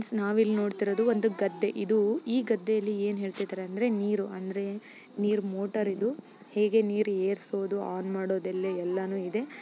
ನಾವಿಲ್ಲಿ ನೋಡುತ್ತಿರುವುದು ಒಂದುಗದ್ದೆ ಇದು ಈಗದಲ್ಲಿ ಏನು ಹೇಳ್ತಿದ್ದಾರೆ ಅಂದ್ರೆ ನೀರು ಅಂದ್ರೆ ನೀರು ಮೋಟರ್ ಇದು ಹೀಗೆ ನೀರು ಏರಿಸೋದು ಮಾಡೋದೆಲ್ಲಎಲ್ಲಾನು ಇದೆ.